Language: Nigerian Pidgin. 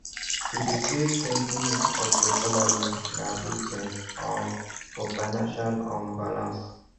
to dey savetwentyof your salary na good thing um for financial um balance